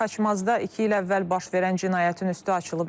Xaçmazda iki il əvvəl baş verən cinayətin üstü açılıb.